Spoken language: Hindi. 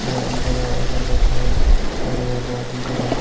अ अंदर आकर बैठे हैं और यह बहोत ही बड़ा--